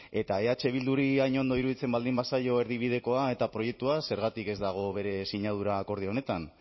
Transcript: eta eh bilduri hain ondo iruditzen baldin bazaio erdibidekoa eta proiektua zergatik ez dago bere sinadura akordio honetan